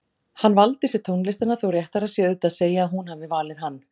Hann valdi sér tónlistina þó réttara sé auðvitað að segja að hún hafi valið hann.